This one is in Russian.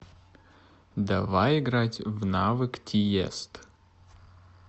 давай играть в навык тиест